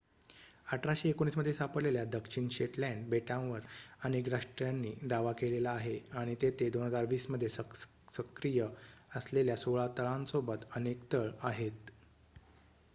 1819 मध्ये सापडलेल्या दक्षिण शेटलँड बेटांवर अनेक राष्ट्रांनी दावा केलेला आहे आणि तेथे 2020 मध्ये सक्रिय असलेल्या सोळा तळांसोबत अनेक तळ आहेत